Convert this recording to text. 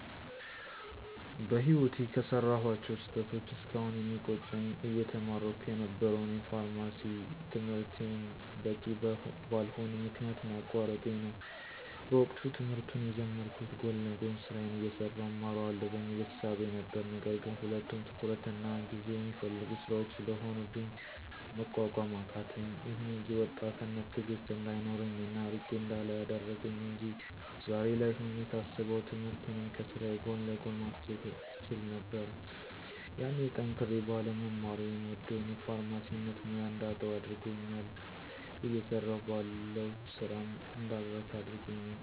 በህይወቴ ከሰራኋቸው ስህተቶች እስካሁን የሚቆጨኝ አየተማርኩ የነበረውን የፋርማሲ ትምህርቴን በቂ በልሆነ ምክንያት ማቋረጤ ነው። በወቅቱ ትምህርቱን የጀመርኩት ጎን ለጎን ስራዬን አየሠራሁ እማረዋለሁ በሚል እሳቤ ነበር ነገር ግን ሁለቱም ትኩረትና ጊዜ የሚፈልጉ ስራዎች ስለሆኑብኝ መቋቋም አቃተኝ። ይሁን እንጂ ወጣትነት ትእግስት እንዳይኖረኝ እና አርቄ እንዳላይ አደረገኝ አንጂ ዛሬ ላይ ሆኜ ሳስበው ትምህርቱንም ከስራዬ ጎን ለጎን ማስኬድ እችል ነበር። ያኔ ጠንክሬ ባለመማሬ የምወደውን የፋርማሲነት ሙያ እንዳጣው አድርጎኛል እየሰራሁ ባለው ስራም እንዳልረካ አድርጎኛል።